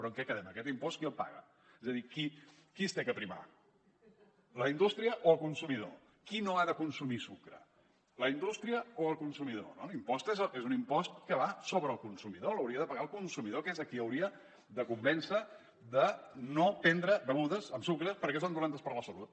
però en què quedem aquest impost qui el paga és a dir a qui s’ha de primar la indústria o el consumidor qui no ha de consumir sucre la indústria o el consumidor l’impost és un impost que va sobre el consumidor l’hauria de pagar el consumidor que és a qui hauria de convèncer de no prendre begudes amb sucre perquè són dolentes per a la salut